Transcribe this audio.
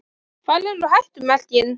Hvar eru hættumerkin?